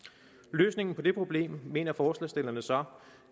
løsningen på det problem mener forslagsstillerne så